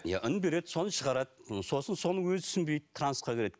иә үн береді соны шығарады сосын соны өзі түсінбейді трансқа кіреді